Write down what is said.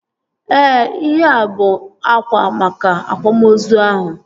Ee, ihea bụ akwa maka akwamozu ahụ